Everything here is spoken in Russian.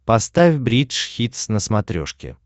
поставь бридж хитс на смотрешке